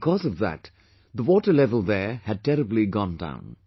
Because of that, the water level there had terribly gone down